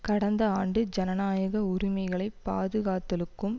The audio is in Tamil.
கடந்த ஆண்டு ஜனநாயக உரிமைகளை பாதுகாத்தலுக்கும்